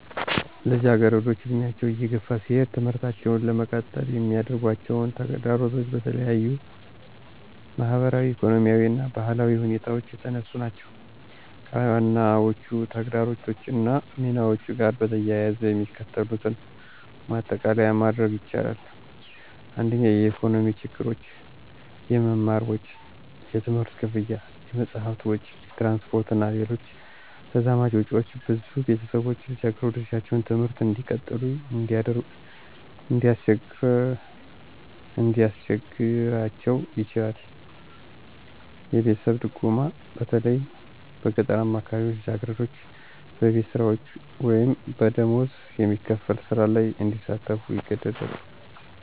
ልጃገረዶች ዕድሜያቸው እየገፋ ሲሄድ ትምህርታቸውን ለመቀጠል የሚያጋጥማቸው ተግዳሮቶች በተለያዩ ማኅበራዊ፣ ኢኮኖሚያዊ እና ባህላዊ ሁኔታዎች የተነሱ ናቸው። ከዋናዎቹ ተግዳሮቶች እና ሚናቸው ጋር በተያያዘ የሚከተሉትን ማጠቃለያ ማድረግ ይቻላል። 1. **የኢኮኖሚ ችግሮች** - **የመማር ወጪ** የትምህርት ክፍያ፣ የመጽሐፍ ወጪ፣ የትራንስፖርት እና ሌሎች ተዛማጅ ወጪዎች ብዙ ቤተሰቦች ልጃገረዶቻቸውን ትምህርት እንዲቀጥሉ እንዲያስቸግራቸው ይችላል። - **የቤተሰብ ድጎማ** በተለይ በገጠራዊ አካባቢዎች ልጃገረዶች በቤት ስራዎች ወይም በደሞዝ የሚከፈል ሥራ ላይ እንዲሳተፉ ይገደዳሉ